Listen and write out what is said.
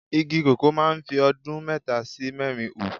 Igi koko máa ń fi ọdún mẹ́ta sí mẹ́rin hù.